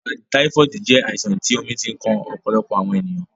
Ìbà taifoodi jẹ̀ àìsàn tí omi ti ǹ kan ọ̀pọ̀lọpọ̀ awọn ènìyàn.